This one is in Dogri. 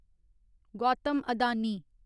गौतम अदानी